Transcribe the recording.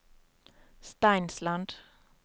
Steinsland